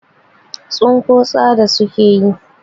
Tsinko tsada suke yi.